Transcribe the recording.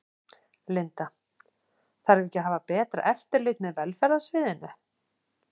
Linda: Þarf ekki að hafa betra eftirlit með velferðarsviðinu?